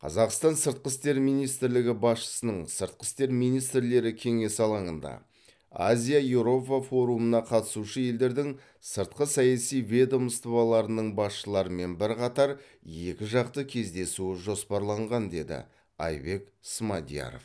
қазақстан сыртқы істер министрлігі басшысының сыртқы істер министрлері кеңесі алаңында азия еуропа форумына қатысушы елдердің сыртқы саяси ведомстволарының басшыларымен бірқатар екіжақты кездесуі жоспарланған деді айбек смадияров